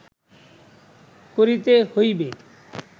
করিতে হইবে